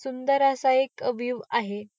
सुंदर असा एक व्यूव आहे.